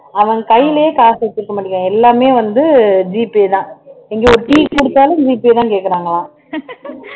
அவன் கையிலயே காசு வச்சுக்க மாட்டேங்குறான் எல்லாமே வந்து G pay தான் இங்க ஒரு டீ குடிச்சாலும் G pay தான் கேக்குறாங்களாம்